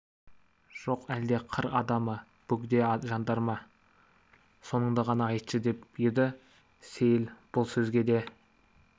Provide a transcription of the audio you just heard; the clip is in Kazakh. жоқ әлде қыр адамы бөгде жандар ма соныңды ғана айтшы деп еді сейіл бұл сөзге де